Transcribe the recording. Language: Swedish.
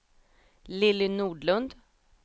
Lilly Nordlund